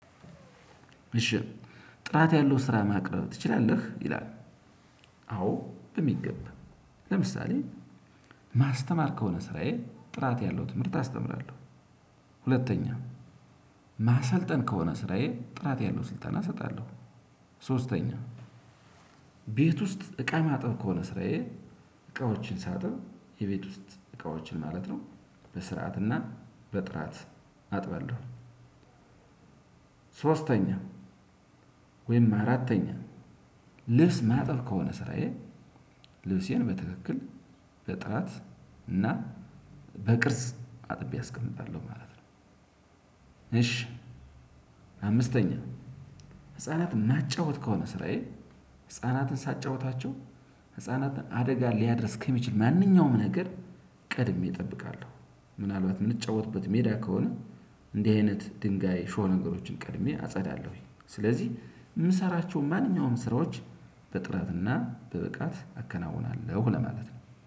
እሺ ጥራት ያለው ስራ ማቅረብ ትችላለህ ይላል? አዎ በሚገባ ለምሳሌ ማስተማር ከሆነ ስራዬ ጥራት ያለው ትምህርት አስተምራለሁ። ሁለተኛ ማሰልጠን ከሆነ ስራዬ ጥራት ያለው ስልጠና እሰጣለሁ። ሶስተኛ ቤት ውስጥ እቃ ማጥብ ከሆነ ስራዬ እቃዎችን ሳጥብ የቤት ውስጥ እቃዎችን ማለት ነው በስርዓትና በጥራት አጥባለው። ሶስተኛ ወይም አራተኛ ልብስ ማጠብ ከሆነ ስራዬ ልብሴን በትክክል በጥራት እና በቅርጽ አጥቤ አስቀምጣለሁ ማለት ነው። እሺ አምስተኛ ህፃናትን ማጫወት ከሆነ ስራዬ ህፃናትን ሳጫውታቸው ህፃናትን አደጋ ሊያደርስ ከሚችል ማንኛውም ነገር ቀድሜ እጠብቃለሁ። ምናልባት የምጫወትበት ሜዳ ከሆነ እንዲህ አይነት ድንጋይ ሾህ ነገሮችን ቀድሜ አጸዳለሁኝ። ስለዚህ የምሰራቸው ማንኛውም ስራዎች በጥራትና በብቃት አከናውናለሁ ለማለት ነው